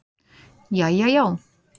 Jæja já.